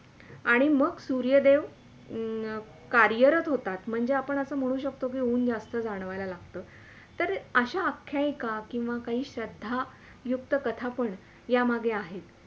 आणि मग सुर्यदेव हम्म कार्यरत होतात म्हणजे आपण असे म्हणू शकतो कि ऊन जास्त जाणवायला लागतं तर अश्या आख्याईका किवा काही श्रद्धा युक्त कथा पण या मागे आहेत